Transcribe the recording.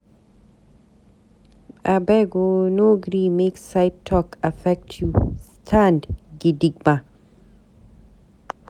Abeg o no gree make side talk affect you, stand gidigba.